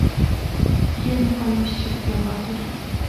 я не боюсь сергей лазарев